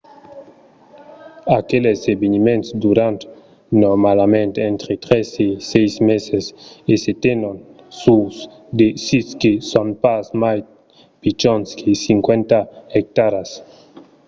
aqueles eveniments duran normalament entre tres e sièis meses e se tenon sus de sits que son pas mai pichons que 50 ectaras